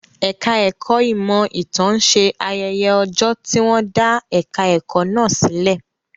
Ẹ̀ka ẹ̀kọ́ ìmọ̀ ìtàn ń ṣe ayẹyẹ ọjọ́ tí wọ́n dá ẹ̀ka ẹ̀kọ́ náà sílẹ̀.